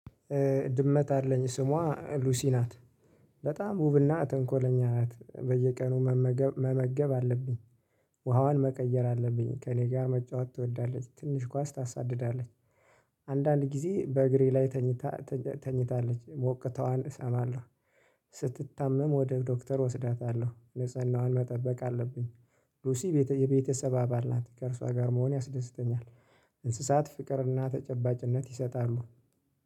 ድመት አለኝ ስሟ ሉሲ ናት። በጣም ውብና ተንኮለኛ ናት። በየቀኑ መመገብ አለብኝ። ውሃዋን መቀየር አለብኝ ከእኔ ጋር መጫወት ትወዳለች ትንሽ ኳስ ታሳድዳለች። አንዳንድ ጊዜ በእግሬ ላይ ተኝታ ተኝታለች ሞቅተዋን እሰማለሁ። ስትታመም ወደ ዶክተር ወስዳታለሁ ንጽህናዋን መጠበቅ አለብኝ። ሉሲ የቤተሰብ አባል ናት ከእርሷ ጋር መሆን ያስደስተኛል። እንስሳት ፍቅርና ተጨባጭነት ይሰጣሉ።